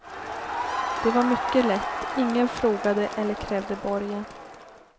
Det var mycket lätt, ingen frågade eller krävde borgen.